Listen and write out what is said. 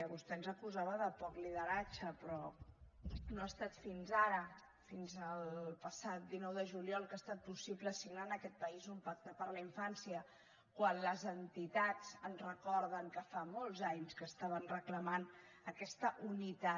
vostè ens acusava de poc liderat ge però no ha estat fins ara fins el passat dinou de juliol que ha estat possible signar en aquest país un pacte per a la infància quan les entitats ens recorden que fa molts anys que estaven reclamant aquesta unitat